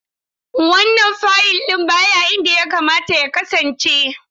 Wannan fayil ɗin baya inda yakamata ya kasance.